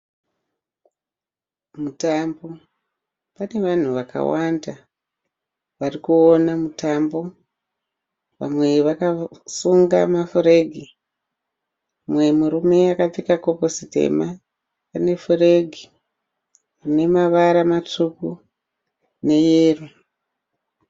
Mutambo. Pane vanhu vakawanda varikuona mutambo. Vamwe vakasunga mafuregi. Umwe murume akapfeka kepesi tema ane furegi ine mavara matsvuku neyero.